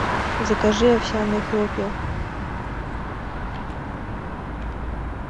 закажи овсяные хлопья